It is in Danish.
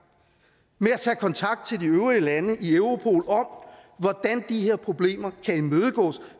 med at tage kontakt til de øvrige lande i europol om hvordan de her problemer kan imødegås